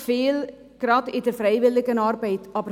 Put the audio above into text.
Gerade in der Freiwilligenarbeit leisten sie unglaublich viel.